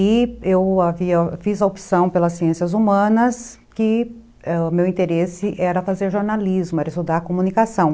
e eu havia, fiz a opção pelas ciências humanas, que o meu interesse era fazer jornalismo, era estudar comunicação.